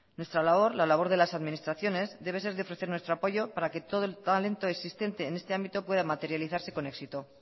nuestra labor la labor de las administraciones debe ser de ofrecer nuestro apoyo para que todo el talento existente en este ámbito pueda materializarse con éxito